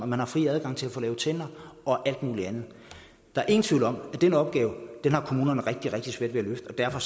man har fri adgang til at få lavet tænder og alt muligt andet der er ingen tvivl om at den opgave har kommunerne rigtig rigtig svært ved at løfte og derfor